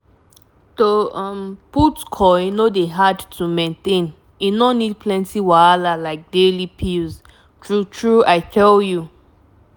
to um put coil no dey hard to maintain e no need plenty wahala like daily pills. true true i tell u